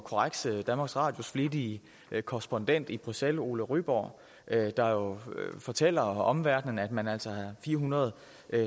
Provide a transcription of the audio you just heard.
korrekse danmarks radios flittige korrespondent i bruxelles ole ryborg der jo fortæller omverdenen at man altså har fire hundrede